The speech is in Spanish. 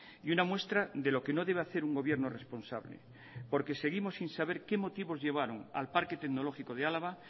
y una muestra de lo que no debe hacer un gobierno responsable porque seguimos sin saber qué motivo llevaron al parque tecnológico de álava